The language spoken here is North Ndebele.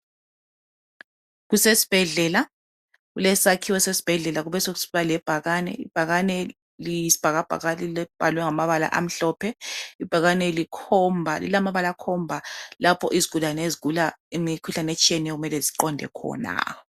Kusesibhedlela kulesakhiwo sesibhedlela kube sekusiba lebhakane eliyisibhakabhaka elibhalwe ngamabala amhlophe ibhakane lilamabala akhomba lapho izigulani ezigula imikhuhlane etshiyeneyo okumele kuqonde khona.